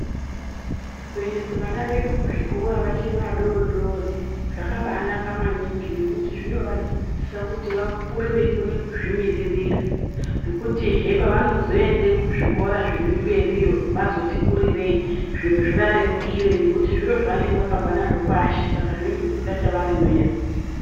Kuendese vana vedu kuzvikora vachiri vadodori zvaka banaka maningi ngekuti zvinovadzidzisa kuti vakure veikone kuzvimiririra ngekutihe pavano zoenda kuzvikora zvirimberiyo vazoti kurirei zviro zviva rerukire ngekuti zviro zvavanenge vakabva nazvo pashi saka zvinenge zvisikacha varemeri .